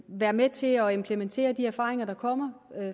være med til at implementere de erfaringer der kommer